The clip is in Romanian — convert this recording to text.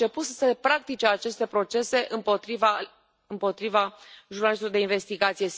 Au început să se practice aceste procese împotriva jurnalistului de investigație.